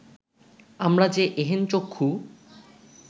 আমরা যে এহেন চক্ষু